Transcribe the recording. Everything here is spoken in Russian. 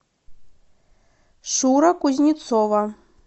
шура кузнецова